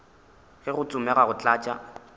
ge go tsomega go tlatša